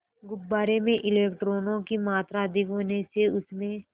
गुब्बारे में इलेक्ट्रॉनों की मात्रा अधिक होने से उसमें